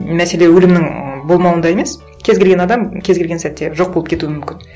мәселе өлімнің м болмауында емес кез келген адам кез келген сәтте жоқ болып кетуі мүмкін